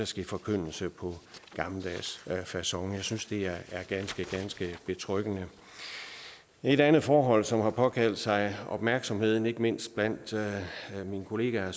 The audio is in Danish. ske forkyndelse på gammeldags facon jeg synes det er ganske ganske betryggende et andet forhold som har påkaldt sig opmærksomhed ikke mindst blandt mine kolleger